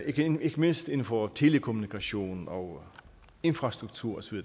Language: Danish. igen ikke mindst inden for telekommunikation og infrastruktur osv